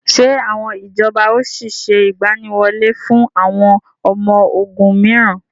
Ṣé àwọn ìjọba ó sì sé ìgbàníwọlé fún àwọn ọmọ ogún miran?